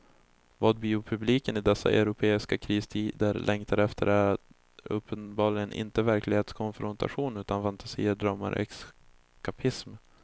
Vad biopubliken i dessa europeiska kristider längtar efter är uppenbarligen inte verklighetskonfrontation utan fantasier, drömmar, eskapism.